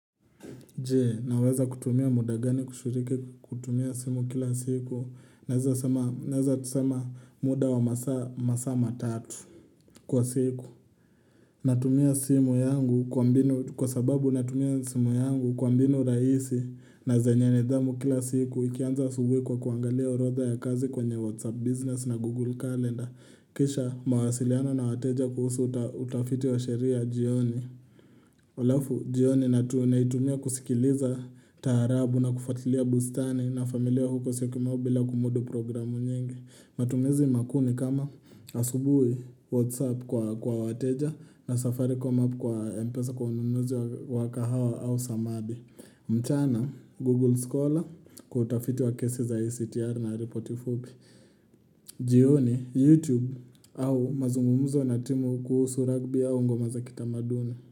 Jee, naweza kutumia muda gani kushiriki kutumia simu kila siku, naweza tusema muda wa masama tatu kwa siku. Natumia simu yangu kwa sababu natumia simu yangu kwa mbinu raisi na zenye nidhamu kila siku, ikianza asubuhi kwa kuangalia orodha ya kazi kwenye whatsapp business na google calendar, kisha mawasiliano na wateja kuhusu utafiti wa sheria jioni. Alafu, jioni natu naitumia kusikiliza taarabu na kufuatilia bustani na familia huko siyokimau bila kumudu programu nyingi. Matumizi makuu ni kama asubui WhatsApp kwa wateja na Safaricom app kwa Mpesa kwa ununuzi wa kahawa au samadi. Mchana, Google Scholar kutafiti wa kesi za ICTR na reporti fupi. Jioni, YouTube au mazungumuzo na timu kuhusu rugby au ngomazakita maduni.